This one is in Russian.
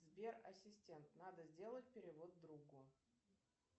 сбер ассистент надо сделать перевод другу